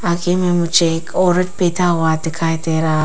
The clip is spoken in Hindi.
आगे में मुझे एक औरत बैठा हुआ दिखाई दे रहा--